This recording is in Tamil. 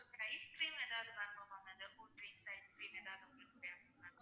ice cream எதாவது வேணுமா ma'amkulfies ice cream எதாவது உங்களுக்கு தேவைப்படுமா ma'am